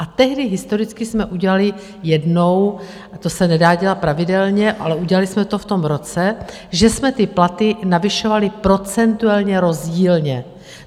A tehdy historicky jsme udělali jednou, a to se nedá dělat pravidelně, ale udělali jsme to v tom roce, že jsme ty platy navyšovali procentuálně rozdílně.